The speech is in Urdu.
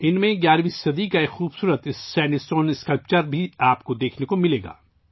ان میں سے آپ کو 11ویں صدی کا ایک خوبصورت سینڈ اسٹون کا مجسمہ بھی دیکھنے کو ملے گا